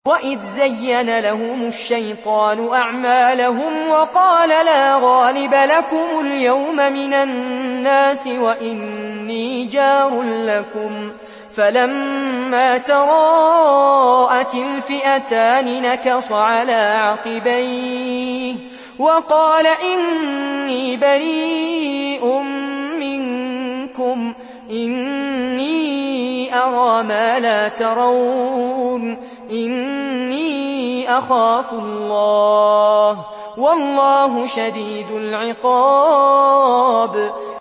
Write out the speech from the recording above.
وَإِذْ زَيَّنَ لَهُمُ الشَّيْطَانُ أَعْمَالَهُمْ وَقَالَ لَا غَالِبَ لَكُمُ الْيَوْمَ مِنَ النَّاسِ وَإِنِّي جَارٌ لَّكُمْ ۖ فَلَمَّا تَرَاءَتِ الْفِئَتَانِ نَكَصَ عَلَىٰ عَقِبَيْهِ وَقَالَ إِنِّي بَرِيءٌ مِّنكُمْ إِنِّي أَرَىٰ مَا لَا تَرَوْنَ إِنِّي أَخَافُ اللَّهَ ۚ وَاللَّهُ شَدِيدُ الْعِقَابِ